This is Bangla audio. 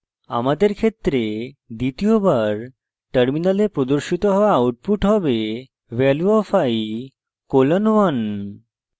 আমাদের ক্ষেত্রে দ্বিতীয়বার terminal প্রদর্শিত হওয়া output হবে value of i colon 1